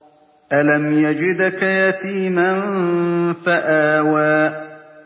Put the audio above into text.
أَلَمْ يَجِدْكَ يَتِيمًا فَآوَىٰ